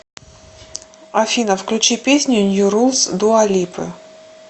афина включи песню нью рулс дуа липы